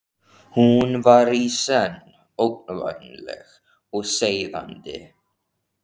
Hún var í senn ógnvænleg og seiðandi.